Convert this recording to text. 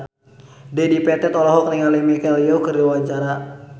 Dedi Petet olohok ningali Michelle Yeoh keur diwawancara